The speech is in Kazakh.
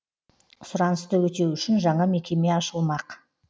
сұранысты өтеу үшін жаңа мекеме ашылмақ